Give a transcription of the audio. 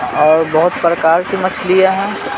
और बहुत प्रकार से मछलियां हैं।